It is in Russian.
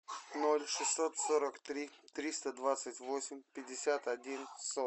ноль шестьсот сорок три триста двадцать восемь пятьдесят один сорок